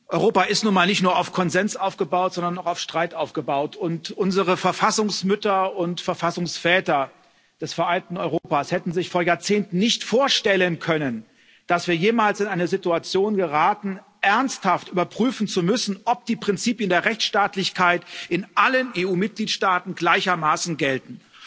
Europa ist nun mal nicht nur auf Konsens, sondern auch auf Streit aufgebaut, und unsere Verfassungsmütter und Verfassungsväter des vereinten Europas hätten sich vor Jahrzehnten nicht vorstellen können, dass wir jemals in eine Situation geraten, ernsthaft überprüfen zu müssen, ob die Prinzipien der Rechtsstaatlichkeit in allen EU Mitgliedstaaten gleichermaßen gelten.